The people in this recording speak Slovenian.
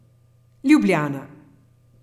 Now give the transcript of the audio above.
Ljubljana.